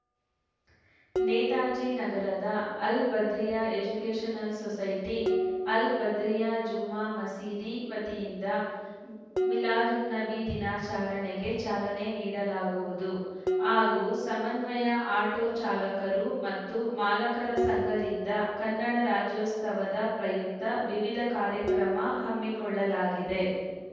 ನೇತಾಜಿ ನಗರದ Al Badriya educational society Al Badriya Jumma Masjid ವತಿಯಿಂದ ಮಿಲಾದುನ್ನಬಿ ದಿನಾಚರಣೆಗೆ ಚಾಲನೆ ನೀಡಲಾಗುವುದು ಹಾಗೂ ಸಮನ್ವಯ ಆಟೋ ಚಾಲಕರು ಮತ್ತು ಮಾಲಕರ ಸಂಘದಿಂದ ಕನ್ನಡ ರಾಜ್ಯೋತ್ಸವದ ಪ್ರಯುಕ್ತ ವಿವಿಧ ಕಾರ್ಯಕ್ರಮ ಹಮ್ಮಿಕೊಳ್ಳಲಾಗಿದೆ